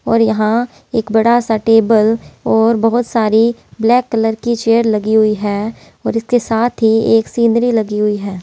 और यहाँ एक बड़ा सा टेबल और बहुत सारी ब्लैक कलर की चेयर लगी हुई हैऔर इसके साथ ही एक सीनरी लगी हुई है।